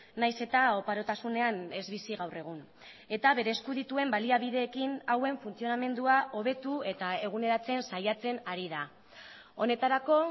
nahiz eta oparotasunean ez bizi gaur egun eta bere esku dituen baliabideekin hauen funtzionamendua hobetu eta eguneratzen saiatzen ari da honetarako